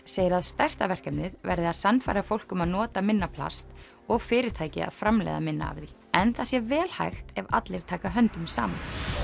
segir að stærsta verkefnið verði að sannfæra fólk um að nota minna plast og fyrirtæki að framleiða minna af því en það sé vel hægt ef allir taka höndum saman